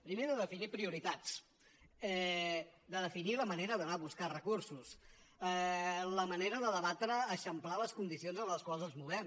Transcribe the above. primer de definir prioritats de definir la manera d’anar a buscar recursos la manera de debatre eixamplar les condicions en les quals ens movem